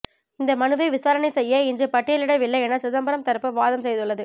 இந்த மனுவை விசாரணை செய்ய இன்று பட்டியலிடவில்லை என சிதம்பரம் தரப்பு வாதம் செய்துள்ளது